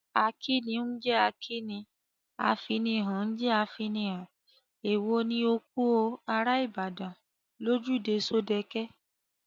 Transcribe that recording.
Akíni ń jẹ́ akíni, afinihàn ń jẹ́ afinihàn, èwo ni ‘‘O kú o, ará Ìbàdàn’’ lójúde Ṣódẹke?